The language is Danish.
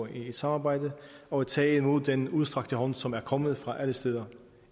et samarbejde og tage imod den udstrakte hånd som er kommet fra alle steder